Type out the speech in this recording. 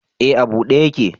Eh a bude yake